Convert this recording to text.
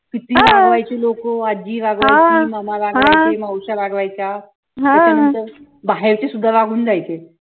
किती रागवायची लोक आजी रागवायची मामा रागवायचे मावश्या रागवायच्या त्याच्यानंतर बाहेरचे सुद्धा रागावून जायचे